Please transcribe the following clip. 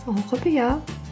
ол құпия